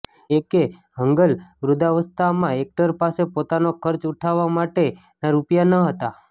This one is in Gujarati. એ કે હંગલવૃદ્ધાવસ્તામાં એક્ટર પાસે પોતાનો ખર્ચ ઉઠાવવા માટે રૂપિયા ન હતા